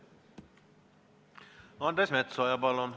Andres Metsoja, palun!